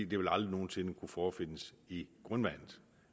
det vil aldrig nogen sinde kunne forefindes i grundvandet